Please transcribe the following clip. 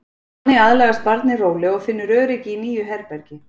Þannig aðlagast barnið rólega og finnur öryggi í nýju herbergi.